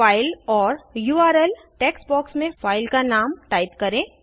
file or URL text box में file का नाम टाइप करें